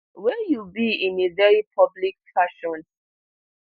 wey you be in a very public fashion